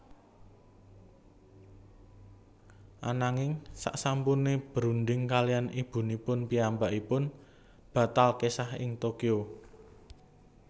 Ananging saksampune berunding kaliyan ibunipun piyambakipun batal kesah ing Tokyo